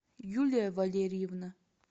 юлия валерьевна